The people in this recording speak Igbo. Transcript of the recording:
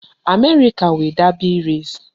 America nwe Derby race